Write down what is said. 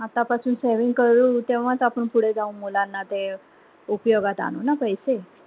आता पासून saving करू तेव्हाच आपण पुढे जाऊन मुलांना ते उपयोगात आणू ना पैसे